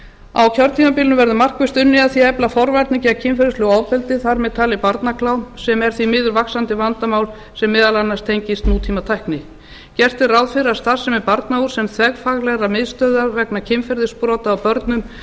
á kjörtímabilinu verður markvisst unnið að því að efla forvarnir gegn kynferðislegu ofbeldi þar með talið barnaklám sem er því miður vaxandi vandamál sem meðal annars tengist nútímatækni gert er ráð fyrir að starfsemi barnahúss sem þverfaglegrar miðstöðvar vegna kynferðisbrota á börnum